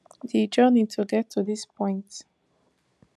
di journey to get to dis point